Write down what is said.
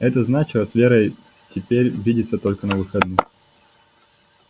это значило с верой теперь видеться только на выходных